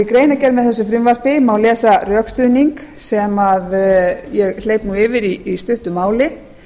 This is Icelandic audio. í greinargerð með þessu frumvarpi má lesa rökstuðning sem ég hleyp yfir í stuttu máli